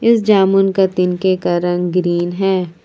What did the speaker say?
इस जामुन का तिनके का रंग ग्रीन है ।